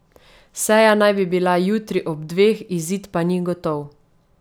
Seja naj bi bila jutri ob dveh, izid pa ni gotov.